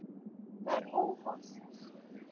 Það er óhollt.